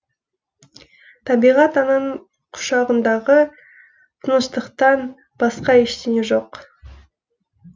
табиғат ананың құшағындағы тыныштықтан басқа ештеңе жоқ